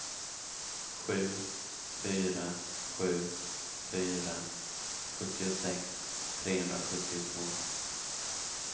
sju fyra sju fyra sjuttiosex trehundrasjuttiotvå